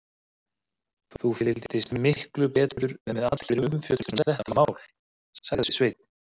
Þú fylgdist miklu betur með allri umfjöllun um þetta mál, sagði Sveinn.